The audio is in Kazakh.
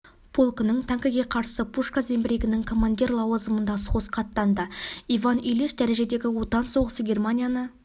полкының танкіге қарсы пушка зеңбірегінің командир лауазымында соғысқа аттанды иван ильич дәрежедегі отан соғысы германияны